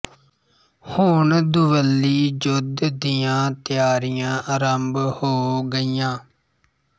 ਹੁਣ ਦੁਵੱਲੀ ਜੁੱਧ ਦੀਆਂ ਤਿਆਰੀਆਂ ਆਰੰਭ ਹੋ ਗਈਆਂ